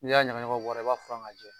N'i y'a ɲagaɲagaw bɔ a ra, i b'a furan k'a jɛ.